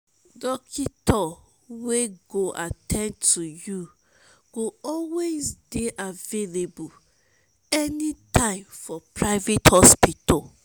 dokitor wey go at ten d to yu go always dey available anytme for private hospital